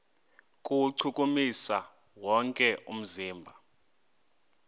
kuwuchukumisa wonke umzimba